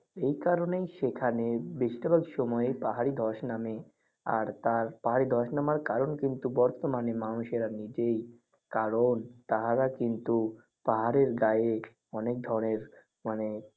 এই কারণে সেখানে বেশির ভাগ সময় পাহাড়ি ধস নামে আর পাহাড়ি ধস নামার কারণ বর্তমানে মানুষেরা নিজেই কারণ তাহারা কিন্তু পাহাড়ের গায়ে অনেক ধরণের মানে